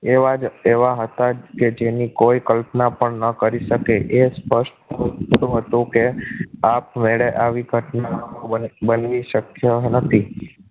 એવા જ એવા હતા કે જેની કોઈ કલ્પના પણ ન કરી શકે એ સ્પષ્ટ ઈચ્છતો હતો કે આપમેળે આવી ઘટનાઓ બનવી શક્ય નતી